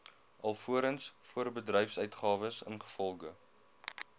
alvorens voorbedryfsuitgawes ingevolge